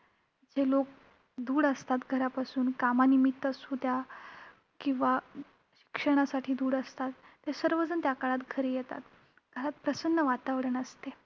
जे लोक दूर असतात घरापासून, कामानिमित्त असू द्या किंवा क्षणासाठी दूर असतात ते सर्वजण त्या काळात घरी येतात. प्रसन्न वातावरण असते.